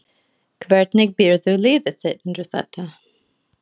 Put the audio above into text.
Hvernig býrðu liðið þitt undir þetta?